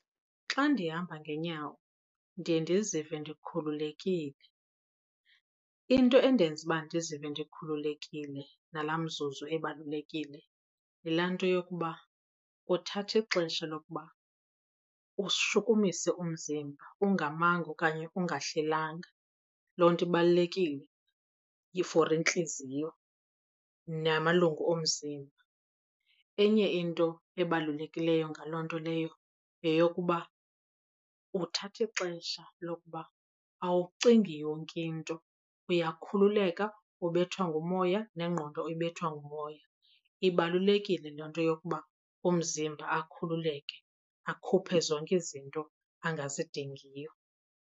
Xa ndihamba ngenyawo ndiye ndizive ndikhululekile. Into endenza uba ndizive ndikhululekile ngalaa mzuzu ebalulekile yilaa nto yokuba uthatha ixesha lokuba ushukumise umzimba ungamanga okanye ungahlelanga, loo nto ibalulekile for intliziyo namalungu omzimba. Enye into ebalulekileyo ngaloo nto leyo yeyokuba uthatha ixesha lokuba awucingi yonke into, uyakhululeka ubethwa ngumoya nengqondo ibethwa ngumoya. Ibalulekile loo nto yokuba umzimba akhululeke akhuphe zonke izinto angazidingiyo.